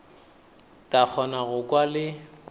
ka kgona go kwa le